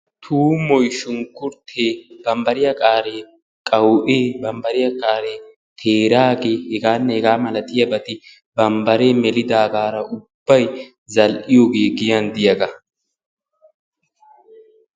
Tuumoy, shunkkurite, bambbariya kaare qawu"e, bambbariya qaaree teeraage heganne hega malatiyaabati bambbare melidaagaara ubbay zal"iyooge giyan diyaaga.